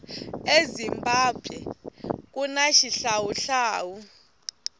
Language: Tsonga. ezimbabwe kuna xihlawuhlawu